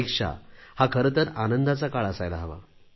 परीक्षा हा खरे तर आनंदाचा काळ असायला हवा